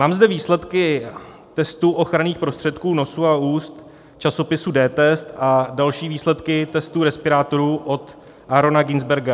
Mám zde výsledky testů ochranných prostředků nosu a úst časopisu dTest a další výsledky testů respirátorů od Aarona Günsbergera.